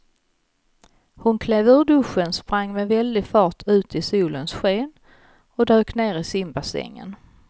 Hon klev ur duschen, sprang med väldig fart ut i solens sken och dök ner i simbassängen.